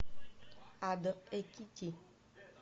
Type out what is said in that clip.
адо экити